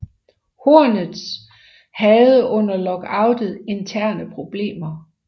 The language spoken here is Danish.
Hornets havde under lockoutet interne problemer